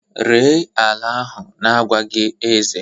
Ree ala ahu n'agwaghi eze